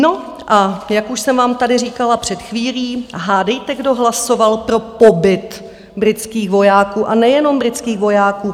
No a jak už jsem vám tady říkala před chvílí, hádejte, kdo hlasoval pro pobyt britských vojáků, a nejenom britských vojáků?